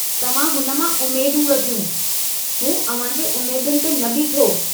तव्हां हुन मां उम्मेदूं रखियूं, हू अव्हांजे उम्मेदुनि ते न बीठो।